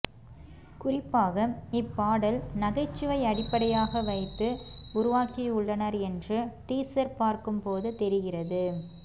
குறிப்பாக இப்பாடல் நகைச்சுவை அடிப்படையாக வைத்து உருவாக்கியுள்ளனர் என்று டீசர் பார்க்கும் போது தெரிகிறது